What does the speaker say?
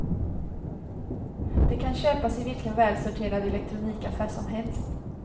Det kan köpas i vilken välsorterad elektronikaffär som helst.